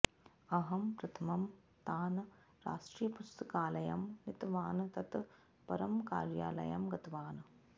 अहं प्रथमं तान् राष्ट्रीयपुस्तकालयं नीतवान् तत् परं कार्यालयं गतवान्